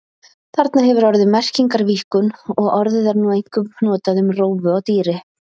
Þarna hefur orðið merkingarvíkkun og orðið er nú einkum notað um rófu á dýri.